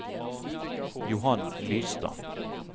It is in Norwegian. Johan Lystad